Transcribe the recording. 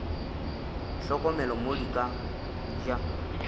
hlokomele mo di ka ja